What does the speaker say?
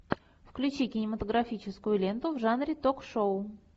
включи кинематографическую ленту в жанре ток шоу